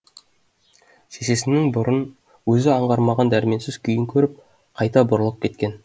шешесінің бұрын өзі аңғармаған дәрменсіз күйін көріп қайта бұрылып кеткен